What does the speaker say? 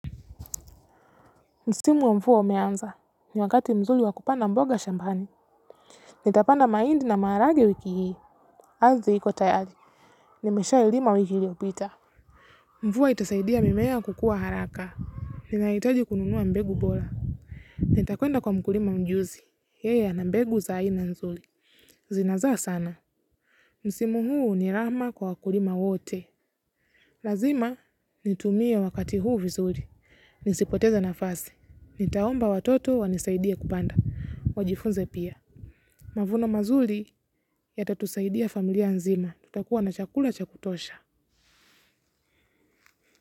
Msimu wa mvua umeanza ni wakati mzuli wakupanda mboga shambani. Nitapanda maindi na maharage wiki hii ardhi hiko tayari nimesha ilima wiki iliyopita. Mvuo itasaidia mimea kukuwa haraka. Ninahitaji kununua mbegu bora. Nitakwenda kwa mkurima mjuzi yeye a na mbegu za aina nzuli zinazaa sana msimu huu ni rahma kwa wakurima wote. Lazima nitumie wakati huu vizuri. Nisipoteza nafasi. Nitaomba watoto wanisaidia kupanda. Wajifunze pia. Mavuno mazuli ya tatusaidia familia nzima. Tutakuwa na chakula chakutosha.